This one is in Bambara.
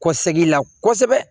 Kɔsɛkila kɔsɛbɛ